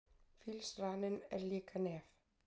fílsraninn er líka nef